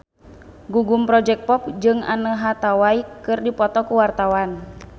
Gugum Project Pop jeung Anne Hathaway keur dipoto ku wartawan